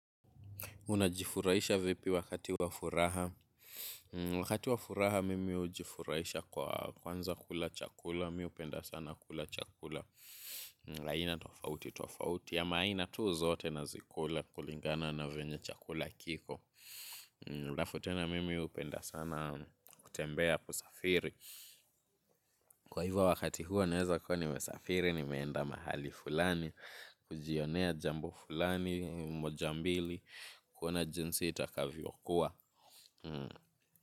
Unajifurahisha vipi wakati wa furaha. Wakati wa furaha mimi hujifurahisha kwa kwanza kula chakula. Mimi hupenda sana kula chakula aina tofauti tofauti ama aina tu zote nazikula kulingana na venye chakula kiko alafu tena mimi hupenda sana kutembea kusafiri. Kwa hivyo wakati huo naweza kuwa nimesafiri nimeenda mahali fulani kujionea jambo fulani moja mbili. Kuna jinsi itakavyo kuwa.